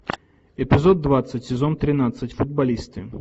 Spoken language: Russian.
эпизод двадцать сезон тринадцать футболисты